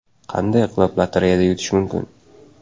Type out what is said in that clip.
Qanday qilib lotereyada yutish mumkin?